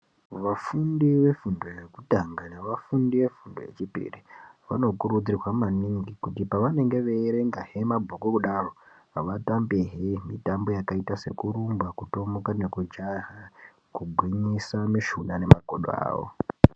Vafundi vefundo yekutanga nevafundi vefundo yechipiri vanokurudzirwa maningi kuti pevanenge veierenga zvemabhuku kudaro, vatambehe mitambo yakaita sekurumba kutomuka nekujaha kugwinyisa mishuna nemakodo avo.